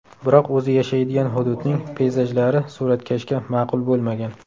Biroq o‘zi yashaydigan hududning peyzajlari suratkashga ma’qul bo‘lmagan.